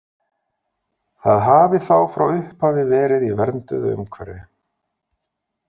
Það hafi þá frá upphafi verið í vernduðu umhverfi.